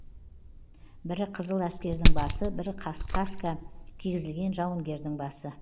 бірі қызыл әскердің басы бірі каска кигізілген жауынгердің басы